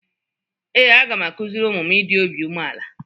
Ee, a ga m akụziri ụmụ m ịdị obi umeala.